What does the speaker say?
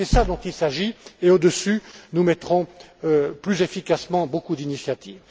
C'est cela dont il s'agit et, au dessus, nous mettrons plus efficacement beaucoup d'initiatives.